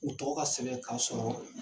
U tɔgɔ ka sɛbɛn ka sɔrɔ